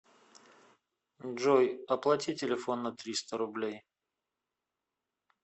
джой оплати телефон на триста рублей